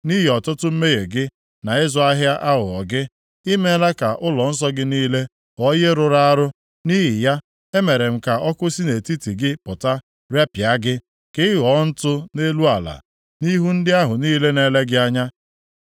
Nʼihi ọtụtụ mmehie gị, na ịzụ ahịa aghụghọ gị, i meela ka ụlọnsọ gị niile ghọọ ihe rụrụ arụ. Nʼihi ya, emere m ka ọkụ si nʼetiti gị pụta, repịa gị. Ka ị ghọọ ntụ nʼelu ala, nʼihu ndị ahụ niile na-ele gị anya.